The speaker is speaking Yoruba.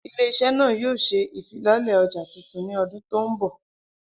Ile-iṣẹ naa yoo ṣe ifilọlẹ ọja tuntun ni ọdun to nbọ.